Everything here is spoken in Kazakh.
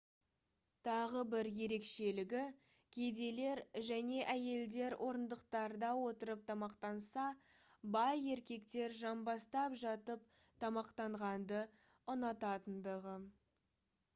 тағы бір ерекшелігі кедейлер және әйелдер орындықтарда отырып тамақтанса бай еркектер жамбастап жатып тамақтанғанды ұнататындығы